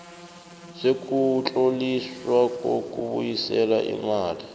sokutloliswa kokubuyiselwa imali